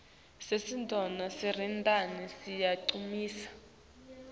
sisinduo selirandi siyancumisa